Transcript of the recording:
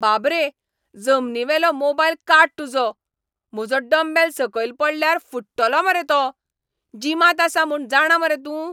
बाब रे, जमनीवेलो मोबायल काड तुजो, म्हजो डंबेल सकयल पडल्यार फुट्टलो मरे तो. जिमांत आसा म्हूण जाणा मरे तूं?